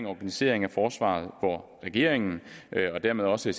organiseringen af forsvaret hvor regeringen og dermed også